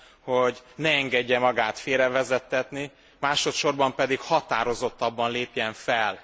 hogy ne engedje magát félrevezettetni, másodsorban pedig határozottabban lépjen fel.